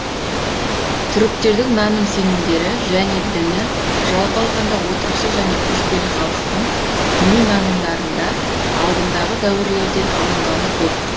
түріктердің наным сенімдері және діні жалпы алғанда отырықшы және көшпелі халықтың діни нанымдарында алдындағы дәуірлерден алынғаны көп